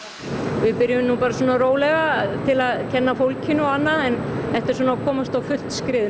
við byrjuðum nú bara svona rólega til að kenna fólkinu og annað en þetta er svona að komast á fullt skrið